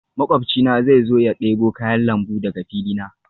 Makwabcina zai zo ya debo kayan lambu daga fili na